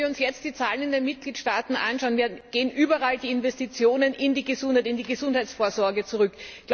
Wenn wir uns jetzt die Zahlen in den Mitgliedstaaten anschauen, gehen überall die Investitionen in die Gesundheit, in die Gesundheitsvorsorge zurück.